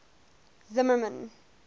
zimmermann